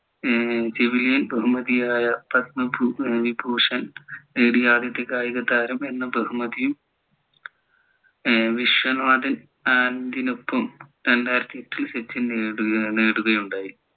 ഏർ civilian ബഹുമതിയായ പത്മ വിഭൂഷൺ നേടിയ ആദ്യത്തെ കായിക താരം എന്ന ബഹുമതിയും ഏർ വിശ്വനാഥിനൊപ്പം രണ്ടായിരത്തിയെട്ടിൽ സച്ചിൻ നേടുകയുണ്ടായി